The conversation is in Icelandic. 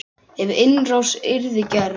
Ef innrás yrði gerð?